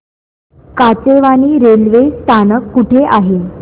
Kachewani railway स्थानक कुठे आहे